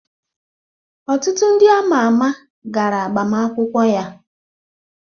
Ọtụtụ ndị ama ama gara agbamakwụkwọ ya